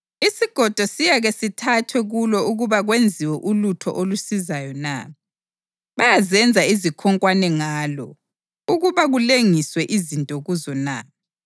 Isigodo siyake sithathwe kulo ukuba kwenziwe ulutho olusizayo na? Bayazenza izikhonkwane ngalo ukuba kulengiswe izinto kuzo na?